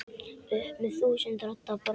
upp með þúsund radda brag.